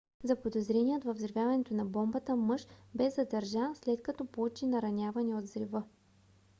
заподозреният във взривяването на бомбата мъж бе задържан след като получи наранявания от взрива